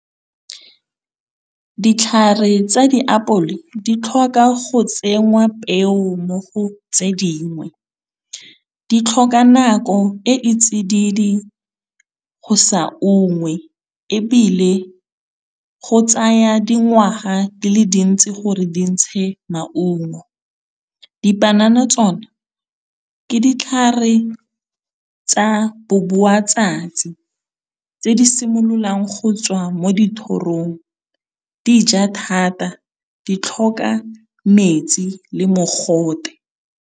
Ditlhare tsa diapole di tlhoka go tsenngwa peo mo go tse dingwe. Di tlhoka nako e e tsididi go sa ungwe ebile, go tsaya dingwaga di le dintsi gore di ntshe maungo. Dipanana tsone ke ditlhare tsa bo buatsatsi tse di simololang go tswa mo dithorong di ja thata, di tlhoka metsi le mogote.